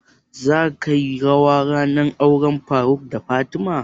Za ka yi rawa a auren faruk da fatima?